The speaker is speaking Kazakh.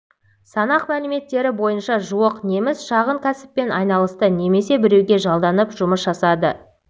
санақ мәліметтері бойынша жуық неміс шағын кәсіппен айналысты немесе біреуге жалданып жұмыс жасады